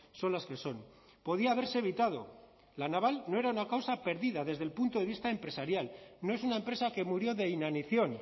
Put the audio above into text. son las que son podía haberse evitado la naval no era una causa perdida desde el punto de vista empresarial no es una empresa que murió de inanición